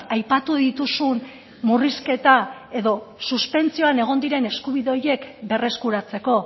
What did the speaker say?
aipatu dituzun murrizketa edo suspentsioan egon diren eskubide horiek berreskuratzeko